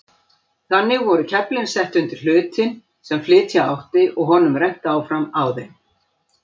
Þannig voru keflin sett undir hlutinn sem flytja átti og honum rennt áfram á þeim.